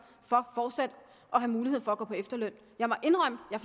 for fortsat at have mulighed for at gå på efterløn jeg må indrømme at